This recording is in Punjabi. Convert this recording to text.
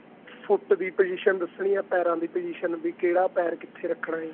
foot ਦੀ position ਦੱਸਣੀ ਏ ਪੈਰਾ ਦੀ position ਵੀ ਕਿਹੜਾ ਪੈਰ ਕਿੱਥੇ ਰੱਖਣਾ ਏ